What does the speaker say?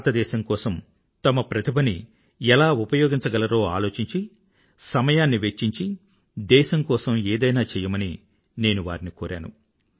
భారతదేశం కోసం తమ ప్రతిభని ఎలా ఉపయోగించగలరో ఆలోచించి సమయాన్ని వెచ్చించి దేశం కోసం ఏదైనా చెయ్యమని నేను వారిని కోరాను